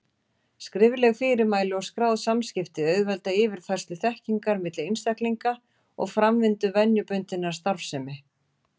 Skrifleg fyrirmæli og skráð samskipti auðvelda yfirfærslu þekkingar milli einstaklinga og framvindu venjubundinnar starfsemi.